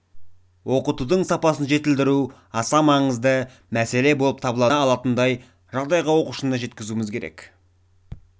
оқытудың сапасын жетілдіру аса маңызды мәселе болып табылады қолдана алатындай жағдайға оқушыны жеткізуіміз керек